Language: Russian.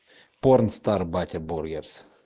порнстар батя бургерс